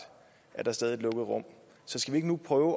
er der stadig et lukket rum så skal vi ikke nu prøve